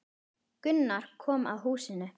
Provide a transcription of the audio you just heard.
Gunnar komu að húsinu.